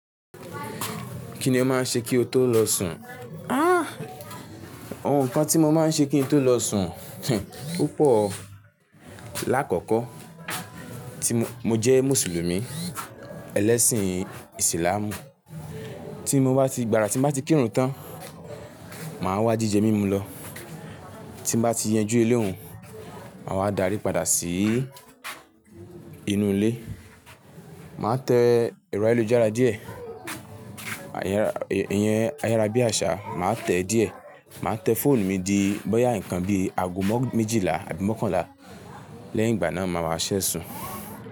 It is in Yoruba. Kí ni o máa ń ṣe kí o tó lọ sùn? Àh! Àwọn nnkan tí mo máa ń ṣe kí n tó lọ sùn opoọ̀. Làkọ́kọ́, tí mo jẹ́ Mùsùlùmí, ẹlẹ́sìn Islamú. Tí mo bá ti gba, tí n bá ti kírun tán, màá wá jíjẹ mímu lọ. Tí mo bá ti yanjú eléhun, màá wá darí padà sí inú ilé. Màá tẹ ẹ̀rọ ayélujára díẹ̀. Ìyẹn ayárábiàsà, màá tẹ̀ díẹ̀. Màá tẹ fóònù mi di bọ́yá nǹkan bí ago mọ́ méjìlá àbí mọ́kànlá lẹ́yìn ìgbà náà màá wa seṣẹ́ sùn.